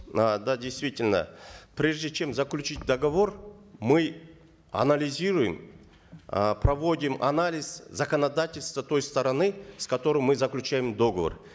э да действительно прежде чем заключить договор мы анализируем э проводим анализ законодательства той стороны с которой мы заключаем договор